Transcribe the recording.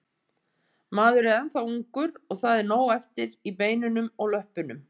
Maður er ennþá ungur og það er nóg eftir í beinunum og löppunum.